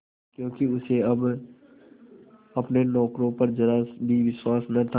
क्योंकि उसे अब अपने नौकरों पर जरा भी विश्वास न था